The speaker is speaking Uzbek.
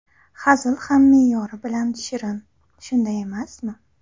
Hazil ham me’yori bilan shirin, shunday emasmi?